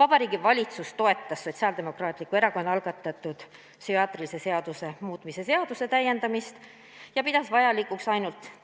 Vabariigi Valitsus toetas Sotsiaaldemokraatliku Erakonna algatatud psühhiaatrilise abi seaduse muutmise seaduse täiendamist ja pidas vajalikuks